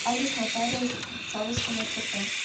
адрес нотариус савушкина тп